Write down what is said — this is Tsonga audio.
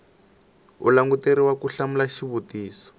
u languteriwa ku hlamula xivutiso